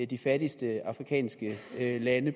de fattigste afrikanske lande